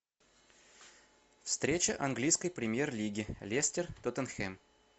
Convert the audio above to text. встреча английской премьер лиги лестер тоттенхэм